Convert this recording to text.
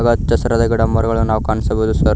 ಹಚ್ಚಹಸಿರಾದ ಗಿಡಮರಗಳನ್ನು ನಾವು ಕಾಣಿಸಬಹುದು ಸರ್ .